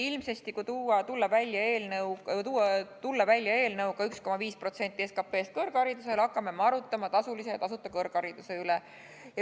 Ilmsesti, kui tulla välja eelnõuga 1,5% SKT-st kõrgharidusele, hakkame me arutama tasulise ja tasuta kõrghariduse üle.